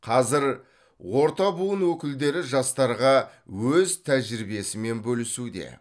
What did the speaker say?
қазір орта буын өкілдері жастарға өз тәжірибесімен бөлісуде